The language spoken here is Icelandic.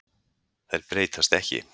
Þær breytast ekki.